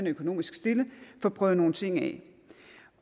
økonomisk stillet få prøvet nogle ting af